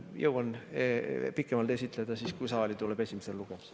Jõuan seda pikemalt esitleda siis, kui see tuleb saali esimesele lugemisele.